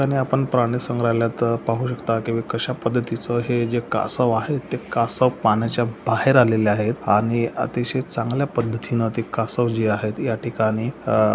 आणि आपण प्राणी संग्रहलयात पाहू शकता की हे कशा पद्धतीच आहे जे कासव आहे ते कासव पाण्याच्या बाहेर आलेले आहे आणि अतिशय चांगल्या पद्धतीने ते कासव जे आहे ती या ठिकाणी आ--